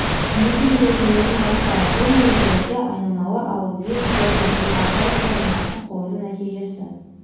немесе ережелерінен бастайық бұл ережелерде айнымалы ал вил термі бұл арқылы формуласын қоюдың нәтижесі